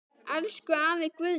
Elsku afi Guðni.